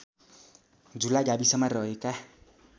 झुला गाविसमा रहेका